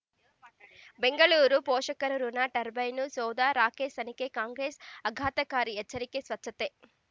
ಬೆಂಗಳೂರು ಪೋಷಕರಋಣ ಟರ್ಬೈನು ಸೌಧ ರಾಕೇಶ್ ತನಿಖೆಗೆ ಕಾಂಗ್ರೆಸ್ ಆಘಾತಕಾರಿ ಎಚ್ಚರಿಕೆ ಸ್ವಚ್ಛತೆ